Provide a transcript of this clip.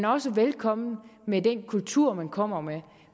også velkommen med den kultur man kommer med